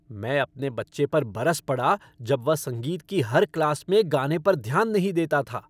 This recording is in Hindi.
मैं अपने बच्चे पर बरस पड़ा जब वह संगीत की हर क्लास में गाने पर ध्यान नहीं देता था।